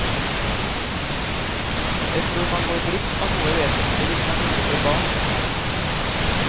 Jeg tror man går glipp av noe vesentlig hvis man ikke får barn.